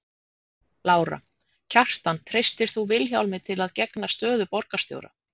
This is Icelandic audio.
Lára: Kjartan treystir þú Vilhjálmi til að gegna stöðu borgarstjóra?